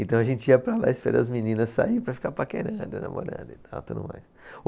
Então a gente ia para lá, esperar as meninas sair para ficar paquerando, namorando e tal, tudo mais.